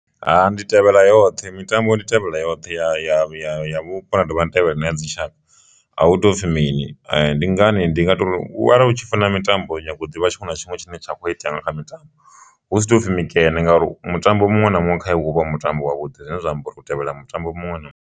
Ha ndi tevhela yoṱhe mitambo ndi tevhela yoṱhe ya ya ya ya vhupo na dovha ni tevhela na ya dzitshaka, a hu topfhi mini ndi ngani ndi nga tori u arali u tshi funa mitambo nyaga uḓi vha tshiṅwe na tshiṅwe tshine tsha kho itea nga kha mitambo hu si toupfhi mikene ngauri mutambo muṅwe na muṅwe kha iwe hu vho mutambo wa vhuḓi zwine zwa amba uri u tevhela mutambo muṅwe na muṅwe.